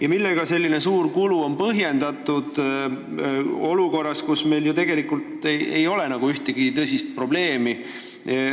Ja millega on selline suur kulu põhjendatud olukorras, kus meil ju tegelikult ei ole ühtegi tõsist probleemi?